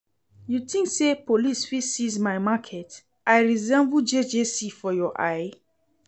You think say police fit seize my market? I resemble JJC for your eye?